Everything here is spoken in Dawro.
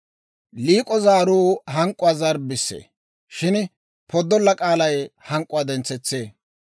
Liik'o zaaruu hank'k'uwaa zarbbissee; shin poddolla k'aalay hank'k'uwaa dentsetsee.